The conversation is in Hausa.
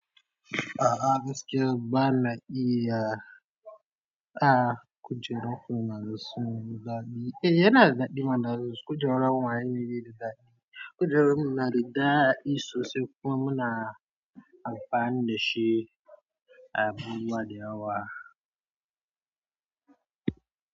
A'a gaskiya ba na iya, a kujeru kuma na zuzzumi daɗi. Eh yana daɗi ma na zuzu kujeru kuma anyi bene daɗi. Kujeru mu nada sosai, kuma muna amfani da shi abubuwa da yawa.